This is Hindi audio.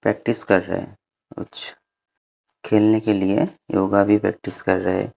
प्रैक्टिस कर रहे हैं कुछ खेलने के लिए योगा भी प्रैक्टिस कर रहे।